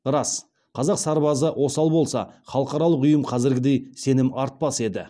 рас қазақ сарбазы осал болса халықаралық ұйым қазіргідей сенім артпас еді